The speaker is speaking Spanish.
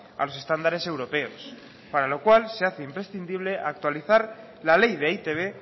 a los estándares europeos para lo cual se hace imprescindible actualizar la ley de e i te be